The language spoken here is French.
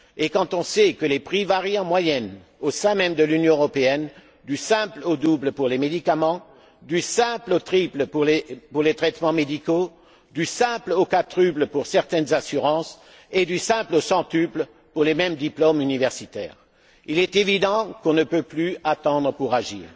Quand on sait que les prix varient en moyenne, au sein même de l'Union européenne, du simple au double pour les médicaments, du simple au triple pour les traitements médicaux, du simple au quadruple pour certaines assurances et du simple au centuple pour les mêmes diplômes universitaires, il est évident que l'on ne peut plus attendre pour agir.